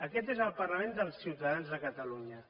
aquest és el parlament dels ciutadans de catalunya